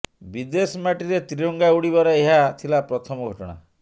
ବିଦେଶ ମାଟିରେ ତ୍ରିରଙ୍ଗା ଉଡିବାର ଏହା ଥିଲା ପ୍ରଥମ ଘଟଣା